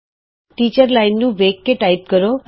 teacher ਅਧਿਆਪਕ line ਤੇ ਵੇਖਦਿਆਂ ਹੋਏ ਟਾਈਪ ਕੀਤਾ